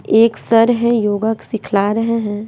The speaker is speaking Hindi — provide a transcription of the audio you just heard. एक सर हैं योगा सिखला रहे हैं।